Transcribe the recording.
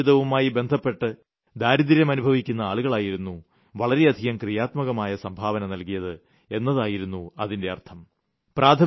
ഗ്രാമീണ ജീവിതവുമായി ബന്ധപ്പെട്ട് ദാരിദ്ര്യം അനുഭവിക്കുന്ന ആളുകളായിരുന്നു വളരെയധികം ക്രിയാത്മകമായി സംഭാവന നൽകിയത് എന്നായിരുന്നു അതിന്റെ അർത്ഥം